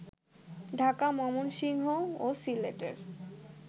ঢাকা, ময়মনসিংহ ও সিলেটের